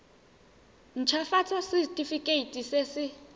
nt hafatsa setefikeiti se se